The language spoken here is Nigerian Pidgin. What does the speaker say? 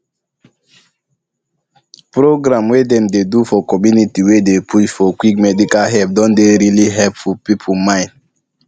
programs wey dem dey do for community wey dey push for quick medical help don dey really open people mind